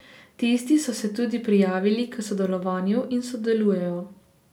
Tisti so se tudi prijavili k sodelovanju in sodelujejo.